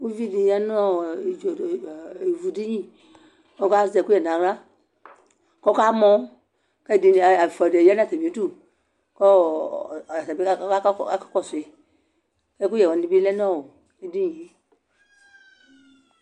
Ʋvidi yanʋ ivʋdini kʋ azɛ ɛkʋyɛ nʋ aɣla kʋ akamɔ kʋ ɛfʋa dibi yanʋ atami idʋ kɔ aka kɔsʋ yi ɛkʋyɛ wani bi lɛnʋ edinie